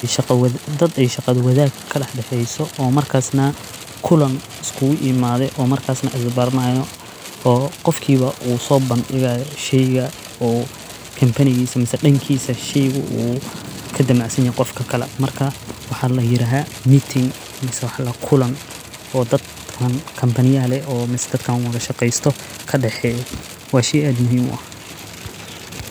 Waxay shaqo wada daad ay shaqado wadaad ka dhexeeyso oo markaasna kulana isku iimaaday oo markaasna isu barnaanayo oo qofkiiba uu soo bandhigaayo sheyga oo company-giisa, masla dhankiisa sheygu uu ka damacaysanaya qofka kala. Markaa waxaad la yiraahdo meeting miisa wax la kulana oo dadkaan companyya leh oo dadkaan uga shaqaysto ka dhexeeyo waa shey aad muhiim u ah.